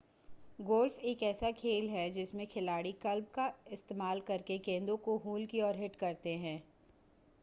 golf एक ऐसा खेल है जिसमें खिलाड़ी क्लब का इस्तेमाल करके गेंदों को होल की ओर हिट करते हैं